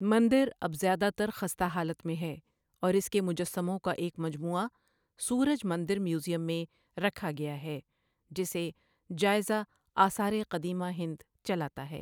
مندر اب زیادہ تر خستہ حالت میں ہے، اور اس کے مجسموں کا ایک مجموعہ سورج مندر میوزیم میں رکھا گیا ہے، جسے جائزہ آثار قدیمہ ہند چلاتا ہے۔